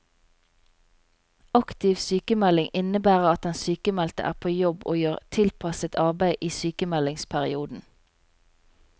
Aktiv sykmelding innebærer at den sykmeldte er på jobb og gjør tilpasset arbeid i sykemeldingsperioden.